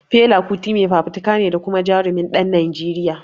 Fela Kuti mai fafutuka ne da kuma Jarumin ɗan Najeriya